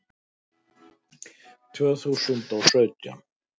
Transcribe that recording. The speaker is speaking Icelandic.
Tvö þúsund og sautján